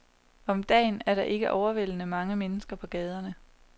Om dagen er der ikke overvældende mange mennesker på gaderne.